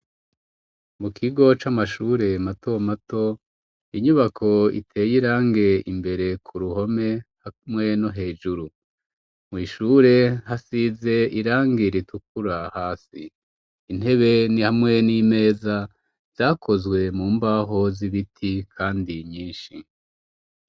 Mu kigo c'amashure mato mato, inyubako iteye irangi imbere ku ruhome hamwe no hejuru. Mw'ishure hasize irangi ritukura hasi, intebe ni hamwe n'imeza, vyakozwe mu mbaho z'ibiti kandi nyinshi.